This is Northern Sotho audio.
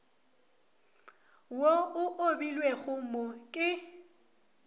wo o obilwego mo ke